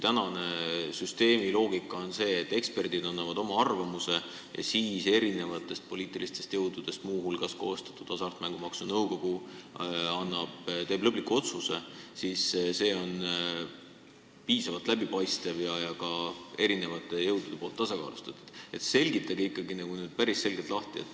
Praeguse süsteemi loogika on see, et eksperdid annavad oma arvamuse ja muu hulgas erinevatest poliitilistest jõududest koostatud Hasartmängumaksu Nõukogu teeb lõpliku otsuse – see on piisavalt läbipaistev ja ka tasakaalustatud süsteem.